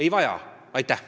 Ei vaja!